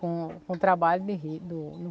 Com com o trabalho de rio, do